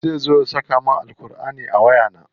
Zai zo ya saka min Ƙurʼani a waya?